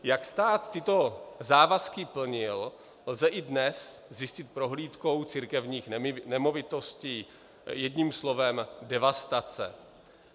Jak stát tyto závazky plnil, lze i dnes zjistit prohlídkou církevních nemovitostí: jedním slovem devastace.